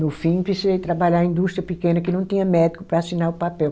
No fim, precisei trabalhar em indústria pequena que não tinha médico para assinar o papel.